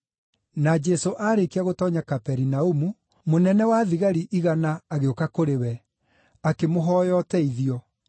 Na Jesũ aarĩkia gũtoonya Kaperinaumu, mũnene-wa-thigari-igana agĩũka kũrĩ we, akĩmũhooya ũteithio.